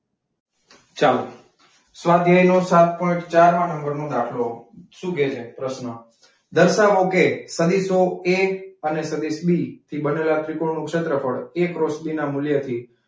ચાલો. સ્વાધ્યાય નો સાત પોઈન્ટ ચારમાં નંબરનો દાખલો શું કહે છે? પ્રશ્ન દર્શાવો કે, સદીશો એ અને સદિશ બી થી બનેલા ત્રિકોણ નું ક્ષેત્રફળ એ ક્રોસ બી ના મૂલ્યથી,